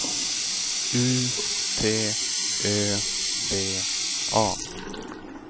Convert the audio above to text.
U T Ö V A